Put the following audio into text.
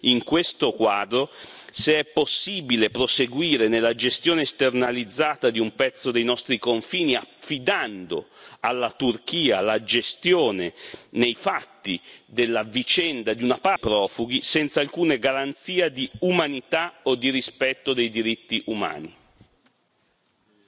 E c'è anche da chiedersi, in questo quadro, se è possibile proseguire nella gestione esternalizzata di un pezzo dei nostri confini, affidando alla Turchia la gestione, nei fatti, di una parte della vicenda dei profughi senza alcuna garanzia di umanità o di rispetto dei diritti umani.